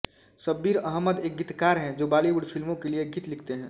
शब्बीर अहमद एक गीतकार हैं जो बॉलीवुड फिल्मो के लिए गीत लिखते हैं